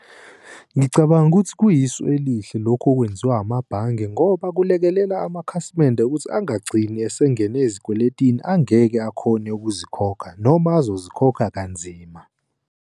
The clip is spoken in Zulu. Ngicabanga ukuthi kuyisu elihle lokhu okwenziwa amabhange ngoba kulekelela amakhasimende ukuthi angagcini esengene ezikweletini angeke akhone ukuzikhokha noma azozikhokha kanzima.